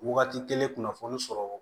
Wagati kelen kunnafoni sɔrɔ